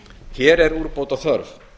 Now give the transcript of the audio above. hér er úrbóta þörf